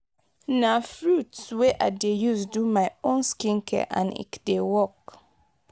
na fruits wey i dey use do my own skincare and ecdey work.